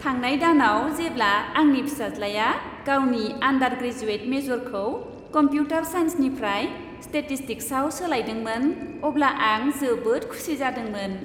थांनाय दानाव जेब्ला आंनि फिसाज्लाया गावनि आन्डार ग्रेजुएट मेजरखौ कमप्युटार साइन्सनिफ्राय स्टेटिस्टिक्सआव सोलायदोंमोन, अब्ला आं जोबोद खुसि जादोंमोन।